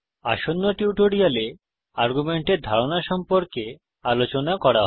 আসন্ন টিউটোরিয়ালে আর্গুমেন্টের ধারণা সম্পর্কে আলোচনা করা হবে